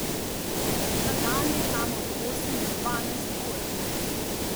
Na dan je tam od osem do dvanajst ur.